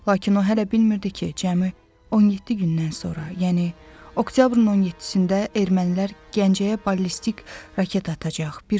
Lakin o hələ bilmirdi ki, cəmi 17 gündən sonra, yəni oktyabrın 17-də ermənilər Gəncəyə ballistik raket atacaq.